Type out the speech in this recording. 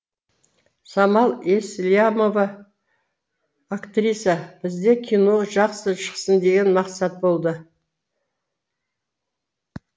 самал еслямова актриса бізде кино жақсы шықсын деген мақсат болды